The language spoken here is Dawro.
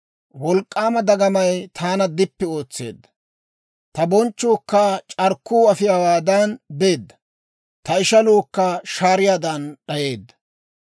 Wolk'k'aama dagamay taana dippi ootseedda; ta bonchchuukka c'arkkuu afiyaawaadan beedda; ta ishaluukka shaariyaadan d'ayeedda.